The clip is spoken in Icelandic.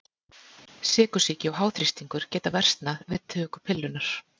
Sykursýki og háþrýstingur geta versnað við töku pillunnar.